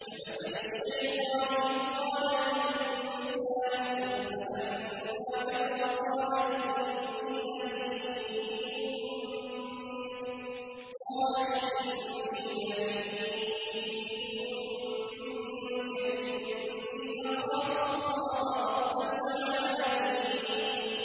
كَمَثَلِ الشَّيْطَانِ إِذْ قَالَ لِلْإِنسَانِ اكْفُرْ فَلَمَّا كَفَرَ قَالَ إِنِّي بَرِيءٌ مِّنكَ إِنِّي أَخَافُ اللَّهَ رَبَّ الْعَالَمِينَ